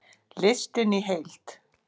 Listinn í heild